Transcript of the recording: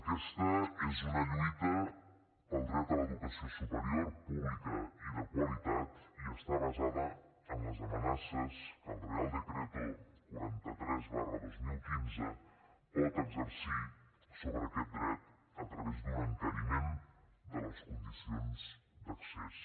aquesta és una lluita pel dret a l’educació superior pública i de qualitat i està basada en les amenaces que el real decreto quaranta tres dos mil quinze pot exercir sobre aquest dret a través d’un encariment de les condicions d’accés